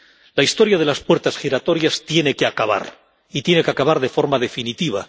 La historia de las puertas giratorias tiene que acabar, y tiene que acabar de forma definitiva.